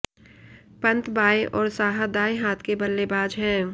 पंत बाएं और साहा दाएं हाथ के बल्लेबाज हैं